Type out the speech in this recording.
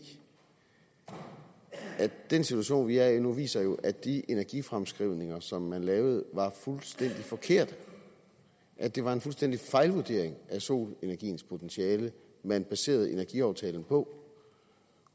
at den situation vi er i nu viser at de energifremskrivninger som man lavede var fuldstændig forkerte at det var en fuldstændig fejlvurdering af solenergiens potentiale man baserede energiaftalen på